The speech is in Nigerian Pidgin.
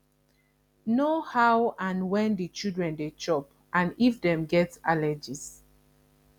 know how and when di children dey chop and if dem get allergies